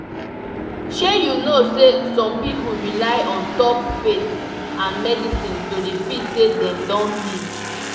shey you know seh some people rely on top faith and medicine to dey feel seh them don heal